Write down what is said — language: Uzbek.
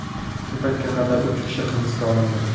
Shu paytga qadar uch kishi hibsga olindi .